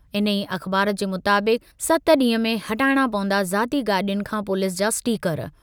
इन्हीअ अख़बार जे मुताबिक़- सत ॾींह में हटाइणा पवंदा ज़ाती गाॾियुनि खां पुलिस जा स्टिकर।